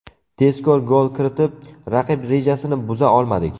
Tezkor gol kiritib, raqib rejasini buza olmadik.